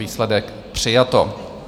Výsledek: přijato.